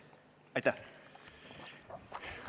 Aitäh!